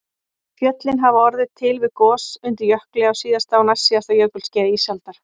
Fjöllin hafa orðið til við gos undir jökli á síðasta og næstsíðasta jökulskeiði ísaldar